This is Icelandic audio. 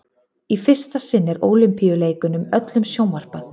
í fyrsta sinn er ólympíuleikunum öllum sjónvarpað